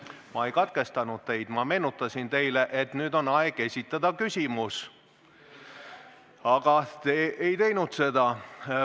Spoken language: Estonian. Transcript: Ma ei katkestanud teid, ma meenutasin teile, et nüüd on aeg esitada küsimus, aga te ei teinud seda.